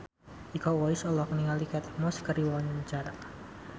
Iko Uwais olohok ningali Kate Moss keur diwawancara